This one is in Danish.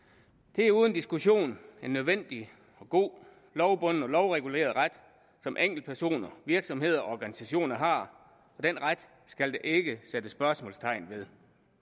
det er uden diskussion en nødvendig og god lovbunden og lovreguleret ret som enkeltpersoner virksomheder og organisationer har og den ret skal der ikke sættes spørgsmålstegn ved